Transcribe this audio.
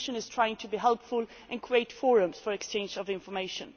The Commission is trying to be helpful, creating forums for the exchange of information.